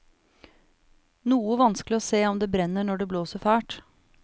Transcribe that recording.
Noe vanskelig å se om det brenner når det blåser fælt.